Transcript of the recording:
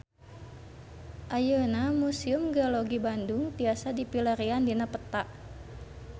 Ayeuna Museum Geologi Bandung tiasa dipilarian dina peta